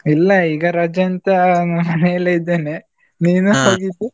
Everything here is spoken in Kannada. ಇಲ್ಲ ಈಗ ರಜೆ ಅಂತ ಮನೆಯಲ್ಲೇ ಇದ್ದೇನೆ .